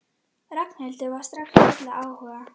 Ragnhildur var strax full af áhuga.